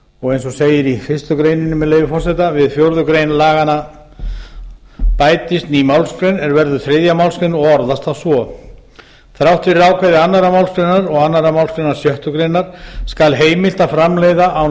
og eins og segir í fyrstu greininni með leyfi forseta við fjórðu grein laganna bætist ný málsgrein er verður þriðja málsgrein og orðast svo þrátt fyrir ákvæði annarrar málsgreinar og annarri málsgrein sjöttu grein skal heimilt að framleiða án